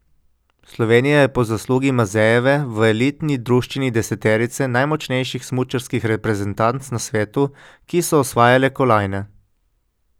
Slovenija je po zaslugi Mazejeve v elitni druščini deseterice najmočnejših smučarskih reprezentanc na svetu, ki so osvajale kolajne.